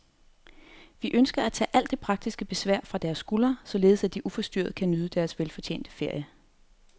Vi ønsker at tage alt det praktiske besvær fra deres skuldre, således at de uforstyrret kan nyde deres velfortjente ferie.